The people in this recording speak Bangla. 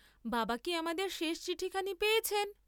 বাবা কি আমাদের শেষ চিঠিখানি পেয়েছেন?